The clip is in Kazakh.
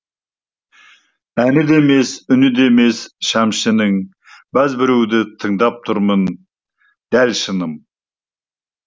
әні де емес үні де емес шәмшінің бәз біреуді тыңдап тұрмын дәл шыным